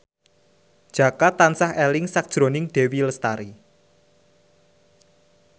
Jaka tansah eling sakjroning Dewi Lestari